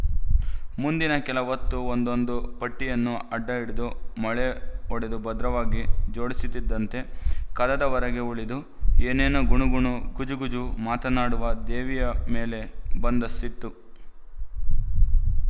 ಮುಂದಿನ ಕೆಲ ಹೊತ್ತು ಒಂದೊಂದು ಪಟ್ಟಿಯನ್ನು ಅಡ್ಡಹಿಡಿದು ಮೊಳೆ ಹೊಡೆದು ಭದ್ರವಾಗಿ ಜೋಡಿಸುತ್ತಿದ್ದಂತೆ ಕದದ ಹೊರಗೇ ಉಳಿದು ಏನೇನೋ ಗುಣುಗುಣುಗುಜುಗುಜು ಮಾತನಾಡುವ ದೇವಿಯ ಮೇಲೆ ಬಂದ ಸಿಟ್ಟು